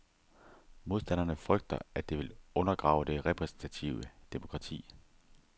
Modstanderne frygter, at det vil undergrave det repræsentative demokrati.